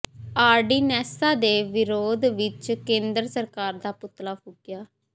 ਆਰਡੀਨੈਂਸਾਂ ਦੇ ਵਿਰੋਧ ਵਿੱਚ ਕੇਂਦਰ ਸਰਕਾਰ ਦਾ ਪੁਤਲਾ ਫੂਕਿਆ